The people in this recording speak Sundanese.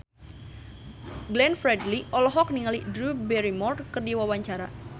Glenn Fredly olohok ningali Drew Barrymore keur diwawancara